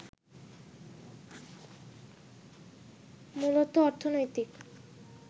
মূলত অর্থনৈতিক